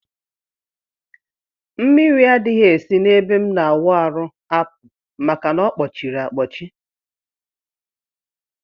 Mmiri adghi esi na ebe m na awụ arụ apụ maka na ọkpọchiri akpọchi.